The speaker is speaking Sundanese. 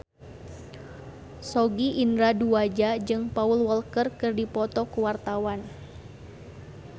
Sogi Indra Duaja jeung Paul Walker keur dipoto ku wartawan